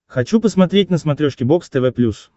хочу посмотреть на смотрешке бокс тв плюс